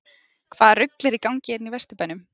HVAÐA RUGL ER Í GANGI HÉRNA Í VESTURBÆNUM???